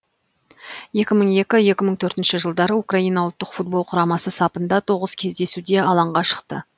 екі мың екі екі мың төртінші жылдары украина ұлттық футбол құрамасы сапында тоғыз кездесуде алаңға шықты